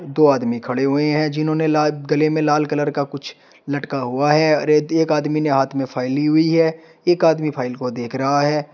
दो आदमी खड़े हुए हैं जिन्होंने ला गले में लाल कलर का कुछ लटका हुआ है। अरे द एक आदमी ने हाथ में फाइल ली हुई है। एक आदमी फाइल को देख रहा है।